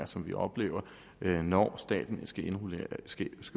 som vi oplever når staten skal